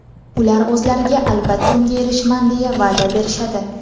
ular o‘zlariga albatta unga erishaman deya va’da berishadi.